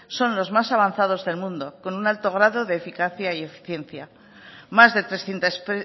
son los más avanzados del mundo con un alto grado de eficacia y eficiencia más de trescientos